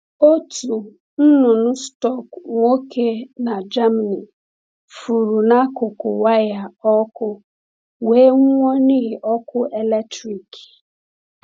Otu nnụnụ stọk nwoke n’Germany furu n’akụkụ waya ọkụ, wee nwụọ n’ihi ọkụ eletrik.